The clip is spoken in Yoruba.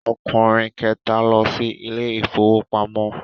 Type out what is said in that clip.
Ọkùnrin kẹta lọ sí ilé ìfowópamọ́.